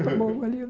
Tão bom olhinho,